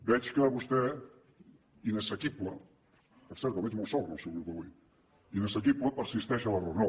veig que vostè inassequible per cert el veig molt sol en el seu grup avui inassequible persisteix en l’error